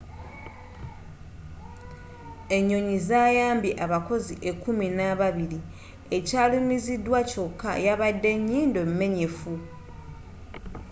enyonyi zayambye abakozi ekkuminababiri ekyalumizidwa kyokka yabadde nyindo menyefu